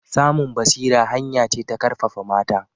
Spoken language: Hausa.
Samun basira hanya ce ta ƙarfafa mata